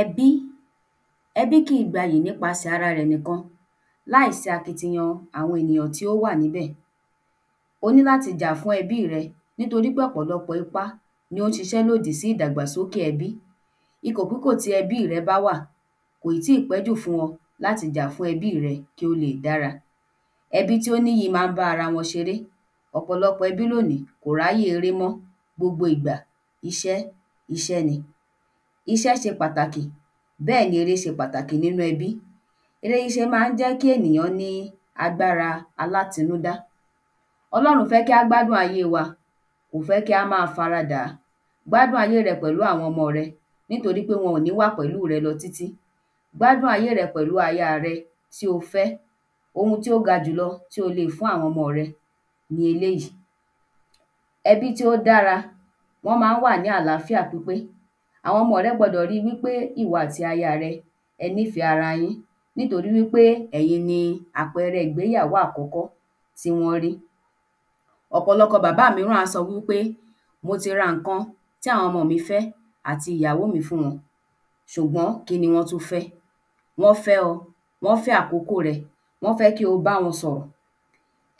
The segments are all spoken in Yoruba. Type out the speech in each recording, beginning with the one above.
Ẹbí ẹbí kìí gbayì nípasẹ̀ ara rẹ̀ nìkan láìsí akitiyan àwọn ènìyàn tí ó wà níbẹ̀ o ní láti jà fún ẹbí rẹ nítorí pé ọ̀pọ̀lọpọ̀ ipá ni ó ń ṣiṣẹ́ lòdì sí ìdàgbàsókè ẹbí ikòpúkò tí ẹbí rẹ bá wà kò ì tíì pẹ́jù fún wọn láti jà fún ẹbí rẹ kí ó lè dára ẹbí tí ó níyì má ń bá ara wọn ṣeré ọ̀pọ̀lọpọ̀ ẹbí lóní kò ráyè eré mọ́ gbogbo ìgbà iṣẹ́ iṣẹ́ ni iṣẹ́ ṣe pàtàkì bẹ́ẹ̀ ni eré ṣe pàtàkì nínú ẹbí eré ṣíṣẹ má ń jẹ́ kí ènìyàn ní agbára alátinúdá ọlọ́run fẹ́ kí á gbádùn ayé wa kò fẹ́ kí á ma fara dàá gbádùn ayé rẹ pẹ̀lú àwọn ọmọ rẹ nítorí pe wọn ò ní wà pẹ̀lú rẹ lọ tí tí gbádùn ayé rẹ pẹ̀lú aya rẹ tí o fẹ́ ohun tí ó gajù lọ tí o lè fún àwọn ọmo rẹ ni eléyí ẹbí tí ó dára wọ́n ma ń wà ní àláfíà pípé àwọn ọmo rẹ gbọdọ̀ ri wí pé ìwọ àti aya rẹ ẹ nífẹ́ ara yín nítorí wí pé ẹ̀yin ni àpeẹrẹ ìgbéyàwó àkọ́kọ́ tí wọ́n rí ọ̀pọ̀lọpọ̀ bàbá míràn á sọ wí pé mo ti ra ǹkan tí àwon omọ mí fẹ́ àti ìyàwó mí fún wọn ṣùgbọ́n kí ni wọ́n tún fẹ́ wọ́n fẹ́ ọ wọ́n fẹ́ àkọ́kọ́ rẹ wọ́n fẹ́ kí o báwọn sọ̀rọ̀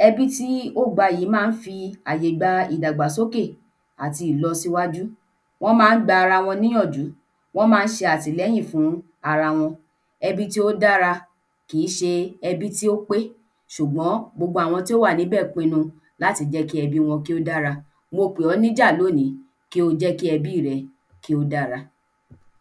ẹbí tí ó gbayì má ń fi àyè ìdàgbàsóke àti ìlọsíwájú wọn má ń gba ara wọn ní yànjú wọn má ń ṣe àtìlẹ́yìn fún ara wọn ẹbí tí ó dára kìí ṣe ẹbí tí ó pé ṣùgbọ́n gbogbo àwọn tí ó wà níbẹ̀ pinu láti jẹ́ kí ẹbí wọn kí ó dára mo pè ọ́ níjà lóní kí o jẹ́ kí ẹbí rẹ kí ó dára